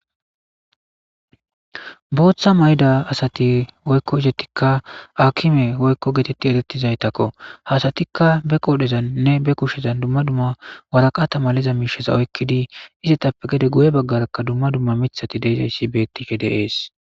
Bootha mayda asati oykko izettikka akime oykko geetetti etettizaytakko hasatikka be qodhezanne be kushezan dumma dumma waraqata maleza miisheza oykkidi izetappe gede guye baggarakka dumma dumma mithati deizayssi bettike dees